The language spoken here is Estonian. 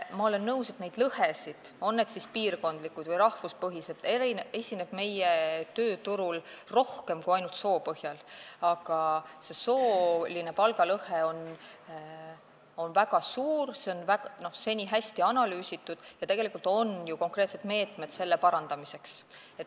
Ma olen nõus, et neid lõhesid, on need siis piirkondlikud või rahvuspõhised, esineb meie tööturul rohkem kui ainult lõhe soo põhjal, aga sooline palgalõhe on väga suur, seda on seni hästi analüüsitud ja on ju olemas konkreetsed meetmed selle vähendamiseks.